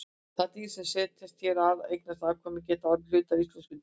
Þau dýr sem setjast hér að og eignast afkvæmi geta orðið hluti af íslenska dýraríkinu.